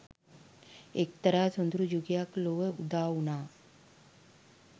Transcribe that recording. එක්තරා සොඳුරු යුගයක් ලොව උදාවුණා.